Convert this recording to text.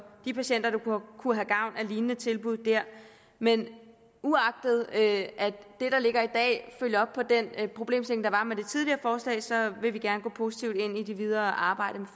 de patienter der kunne have gavn af lignende tilbud der men uagtet at det der ligger i dag følger op på den problemstilling der var med det tidligere forslag vil vi gerne gå positivt ind i det videre arbejde